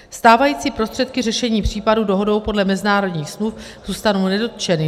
Stávající prostředky řešení případů dohodou podle mezinárodních smluv zůstanou nedotčeny.